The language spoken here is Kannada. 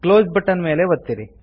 ಕ್ಲೋಸ್ ಬಟ್ಟನ್ ಮೇಲೆ ಒತ್ತಿರಿ